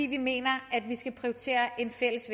vi mener at vi skal prioritere en fælles